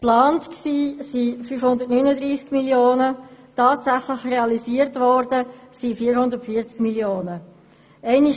Geplant waren 539 Mio. Franken, tatsächlich realisiert wurden hingegen 440 Mio. Franken.